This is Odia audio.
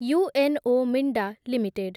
UNO Minda limited